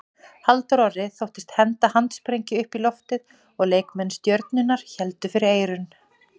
Halldór Orri þóttist henda handsprengju upp í loftið og leikmenn Stjörnunnar héldu fyrir eyrun.